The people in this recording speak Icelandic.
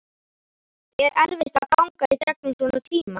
Er erfitt að ganga í gegnum svona tíma?